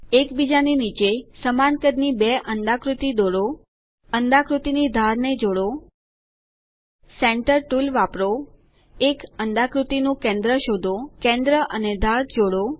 એક બીજા ની નીચે સમાન કદની 2 અંડાકૃતિ દોરો અંડાકૃતિની ધારને જોડો સેન્ટર ટુલ વાપરો એક અંડાકૃતિ નું કેન્દ્ર શોધો કેન્દ્ર અને ધાર જોડો